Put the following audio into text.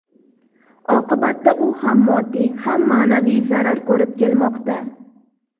Oqibatda u ham moddiy, ham ma’naviy zarar ko‘rib kelmoqda.